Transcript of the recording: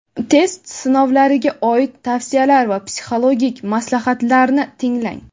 test sinovlariga oid tavsiyalar va psixologik maslahatlarni tinglang.